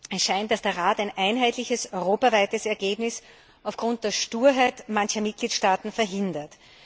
Es scheint, dass der Rat ein einheitliches europaweites Ergebnis aufgrund der Sturheit mancher Mitgliedstaaten verhindert.